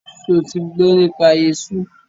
Ṣo ti gbọ́ nípa esú?